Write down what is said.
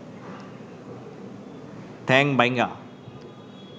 ঠ্যাং বাইঙ্গা